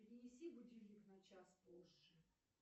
перенеси будильник на час позже